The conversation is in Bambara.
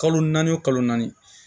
Kalo naani kalo naani